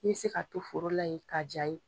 I bi se ka to foro la ye k'a jaa ye.